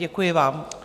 Děkuji vám.